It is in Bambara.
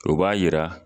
O b'a yira